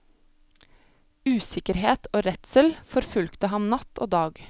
Usikkerhet og redsel forfulgte ham natt og dag.